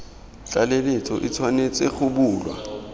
tlaleletso e tshwanetse go bulwa